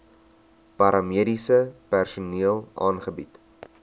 paramediese personeel aangebied